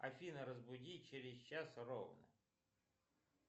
афина разбуди через час ровно